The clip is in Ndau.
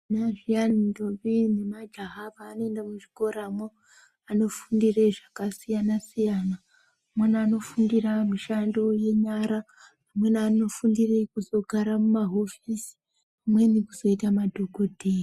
Zviyani ndombi nemajaha pavanoenda muzvikoramwo vanofundire zvakasiyana siyana. Vamweni vanofundira mishando yenyara. Vamweni vanofundire kuzogara mumahofisi. Vamweni kuzoita madhokodheya.